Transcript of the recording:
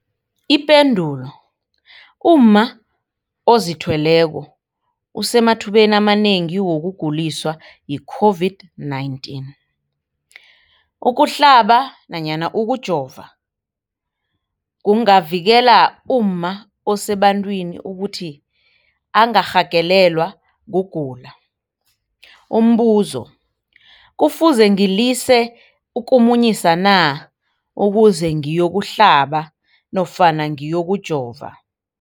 Ipendulo, umma ozithweleko usemathubeni amanengi wokuguliswa yi-COVID-19. Ukuhlaba nofana ukujova kungavikela umma osebantwini ukuthi angarhagalelwa kugula. Umbuzo, kufuze ngilise ukumunyisa na ukuze ngiyokuhlaba nofana ngiyokujova?